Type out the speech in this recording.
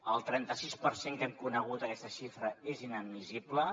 el trenta sis per cent que hem conegut aquesta xifra és inadmissible